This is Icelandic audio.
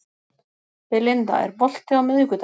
Belinda, er bolti á miðvikudaginn?